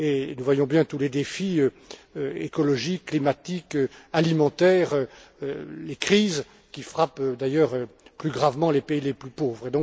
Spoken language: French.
Nous voyons bien tous les défis, écologiques, climatiques, alimentaires et les crises, qui frappent d'ailleurs plus gravement les pays les plus pauvres.